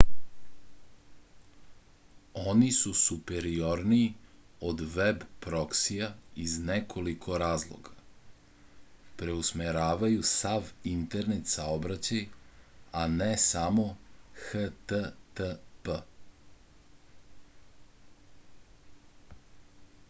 oni su superiorniji od veb proksija iz nekoliko razloga preusmeravaju sav internet saobraćaj a ne samo http